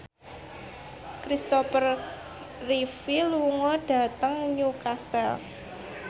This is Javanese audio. Christopher Reeve lunga dhateng Newcastle